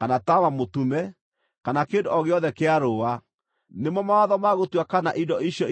kana taama mũtume, kana kĩndũ o gĩothe kĩa rũũa, nĩmo mawatho ma gũtua kana indo icio irĩ na thaahu kana itirĩ na thaahu.